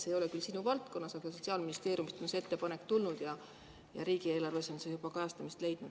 See ei ole küll sinu valdkonnas, aga Sotsiaalministeeriumist on see ettepanek tulnud ja riigieelarves on see juba kajastamist leidnud.